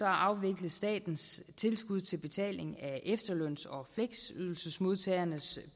afvikles statens tilskud til betaling af efterløns og fleksydelsesmodtagernes